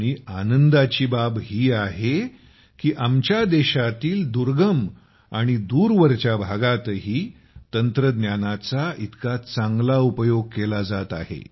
आणि आनंदाची बाब आहे की आमच्या देशातील दुर्गम आणि दूरवरच्या भागांतही तंत्रज्ञानाचा इतका चांगला उपयोग केला जात आहे